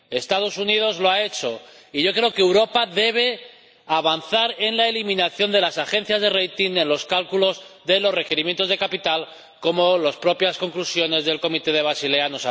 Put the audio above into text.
Los Estados Unidos lo han hecho, y yo creo que Europa debe avanzar en la eliminación de las agencias de rating en los cálculos de los requerimientos de capital, como anuncian las propias conclusiones del Comité de Basilea.